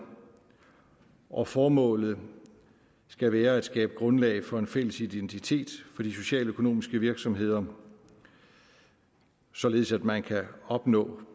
og formålet skal være at skabe grundlag for en fælles identitet for de socialøkonomiske virksomheder således at man kan opnå